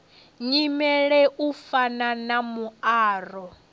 nyimele u fana na muaro